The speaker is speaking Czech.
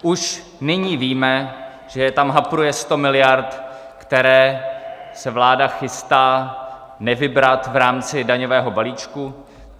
Už nyní víme, že tam hapruje 100 miliard, které se vláda chystá nevybrat v rámci daňového balíčku.